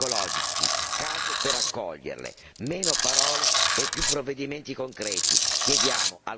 Occorrono protezioni legali e gratuite, sostegni psicologici, case per accoglierle.